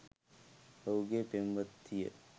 ඔහුගෙ පෙම්වතිය